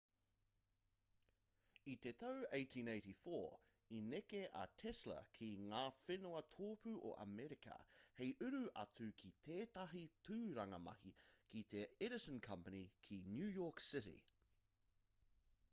i te tau 1884 i neke a tesla ki ngā whenua tōpū o amerika hei uru atu ki tētahi tūranga mahi ki te edison company ki new york city